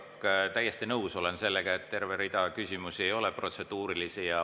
Olen täiesti nõus sellega, et terve rida küsimusi ei olnud protseduurilised.